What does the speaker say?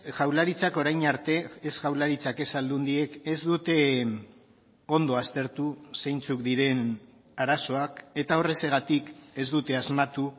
jaurlaritzak orain arte ez jaurlaritzak ez aldundiek ez dute ondo aztertu zeintzuk diren arazoak eta horrexegatik ez dute asmatu